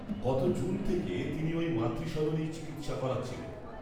গত জুন থেকে তিনি ওই মাতৃসদনেই, চিকিত্সা করাচ্ছিলেন